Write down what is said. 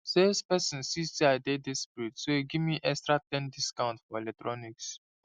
salesperson see say i dey desperate so e give me extra ten discount for electronics